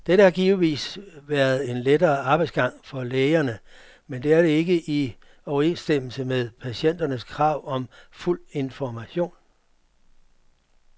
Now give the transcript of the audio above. Dette har givetvis været en lettere arbejdsgang for lægerne, men det er ikke i overensstemmelse med patienternes krav om fuld information.